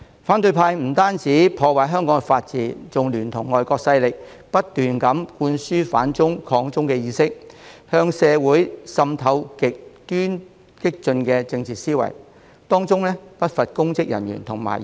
反對派不單破壞香港的法治，還聯同外國勢力不斷灌輸"反中"、"抗中"的意識，向社會滲透極端激進的政治思潮，當中不乏公職人員和議員。